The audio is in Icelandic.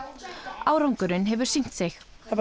árangurinn hefur sýnt sig það